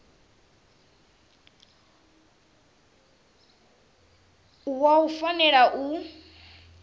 wa wua u fanela u